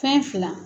Fɛn fila